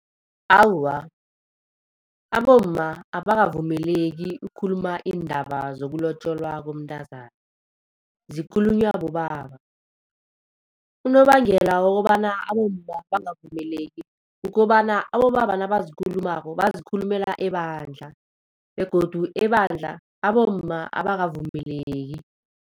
Awa, abomma abakavumeleki ukukhuluma iindaba zokulotjolwa komntazana, zikhulunywa bobaba. Unobangela wokobana abomma bangavumeleki kukobana abobaba nabazikhulumako bazikhulumela ebandla begodu ebandla abomma abakavumeleki.